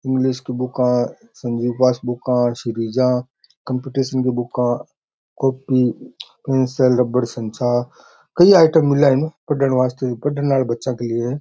English की बुका है संजीव पास बुका कम्पटीसन की बुका कॉपी पेंसिल रबर कई आइटम मिला है पड़ने वास्ते पड़ने वाले बच्चा के लिए है।